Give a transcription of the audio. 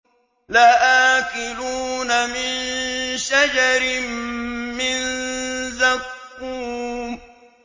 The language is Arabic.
لَآكِلُونَ مِن شَجَرٍ مِّن زَقُّومٍ